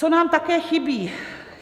Co nám také chybí?